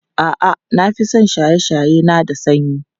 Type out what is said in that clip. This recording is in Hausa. A'a, na fi son shaye-shaye na da sanyi.